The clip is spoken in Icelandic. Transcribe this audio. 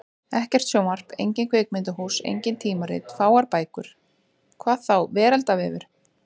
Ekkert sjónvarp, engin kvikmyndahús, engin tímarit, fáar bækur. hvað þá veraldarvefur!